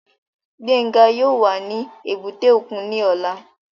Gbénga yóò wà ní èbúté òkun ní ọ̀la